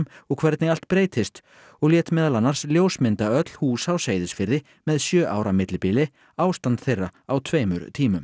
og hvernig allt breytist og lét meðal annars ljósmynda öll hús á Seyðisfirði með sjö ára millibili ástand þeirra á tveimur tímum